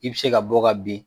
I bi se ka bɔ ka bin.